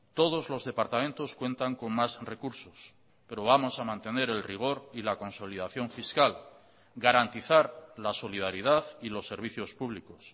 todos los departamentos cuentan con más recursos pero vamos a mantener el rigor y la consolidación fiscal garantizar la solidaridad y los servicios públicos